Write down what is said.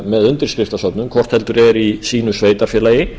með undirskriftasöfnun hvort heldur er í sínu sveitarfélagi